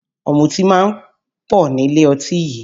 Ọ̀mùtí máa ń pọ̀ nílé ọtí yìí